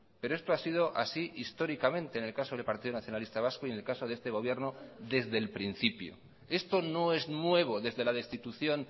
pero esto ha sido así históricamente en el caso del partido nacionalista vasco y en el caso de este gobierno desde el principio esto no es nuevo desde la destitución